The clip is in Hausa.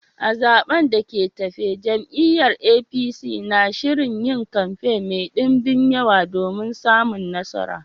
A zaɓen da ke tafe, jam’iyyar APC na shirin yin kamfe mai dumbin yawa domin samun nasara